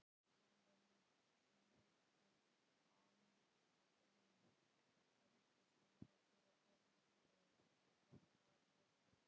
Hann var mikill embættismaður og hafði góða rithönd.